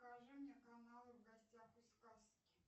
покажи мне каналы в гостях у сказки